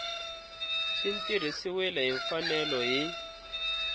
swi tirhisiwile hi mfanelo hi